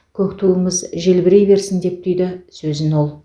көк туымыз желбірей берсін деп түйді сөзін ол